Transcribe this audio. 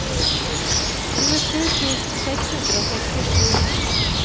tjuesju tusen seks hundre og sekstisju